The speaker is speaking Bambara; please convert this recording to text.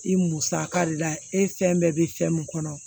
I musaka de la e fɛn bɛɛ bɛ fɛn min kɔnɔ